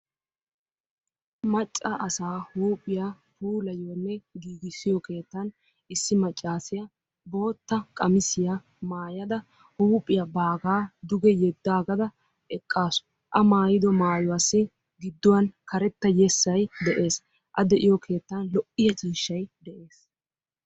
Macca asaa huuphiya puulayiyonne giigissiyo keettaan issi maccaasiya bootta qamisiya maayyada huuphiya baaga duge yedaagada eqqaasu; a maayido maayuwassi giduwan karetta yessay de'ees; a de'iyo keettaan lo'iya ciishay de'ees.